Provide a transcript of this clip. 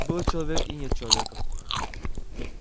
был человек и нет человека